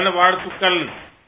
நல்வாழ்த்துக்கள்